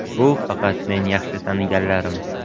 Bu faqat men yaxshi taniganlarim.